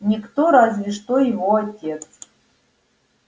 никто разве что его отец